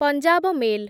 Punjab mail